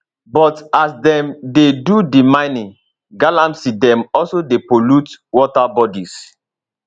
but as dem dey do di mining galamsey dem also dey pollute water bodies